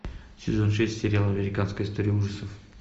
сезон шесть сериал американская история ужасов